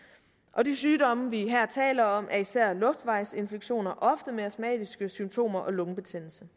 og de sygdomme vi her taler om er især luftvejsinfektioner ofte med astmatiske symptomer og lungebetændelse